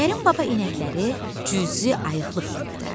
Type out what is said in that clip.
Kərim baba inəkləri cüzi ayıqlıqla güdərdi.